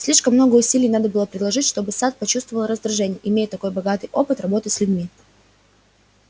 слишком много усилий надо было приложить чтобы сатт почувствовал раздражение имея такой богатый опыт работы с людьми